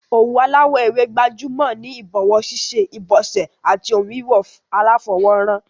Òwú aláwò ewé gbajúmò ni ìbòwó síṣe, ìbòsè àti oun wíwò aláfowó ran